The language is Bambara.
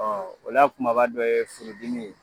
o lakumaba dɔ ye furu dimi